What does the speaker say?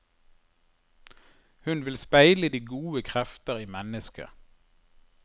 Hun vil speile de gode krefter i mennesket.